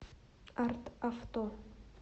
арт авто